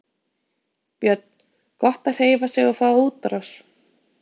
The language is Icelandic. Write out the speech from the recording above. Björn: Gott að hreyfa sig og fá útrás?